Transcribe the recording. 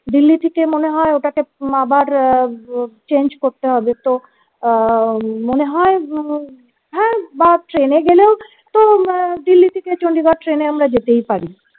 delhi থেকে মনে হয় ওটাকে আবার change করতে হবে তো আহ মনে হয় হ্যা বা টেনে গেলেও তো দিল্লি থেকে চন্ডিগড় ট্রেনে আমরা যেতেই পারি